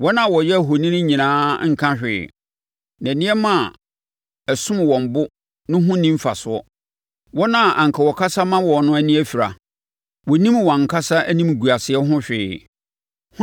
Wɔn a wɔyɛ ahoni nyinaa nka hwee, na nneɛma a ɛsom wɔn bo no ho nni mfasoɔ. Wɔn a anka wɔkasa ma wɔn no ani afira; wɔnnim wɔn ankasa animguaseɛ ho hwee.